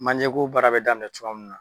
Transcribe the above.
Manjeko baara bɛ daninɛ cogoya min na.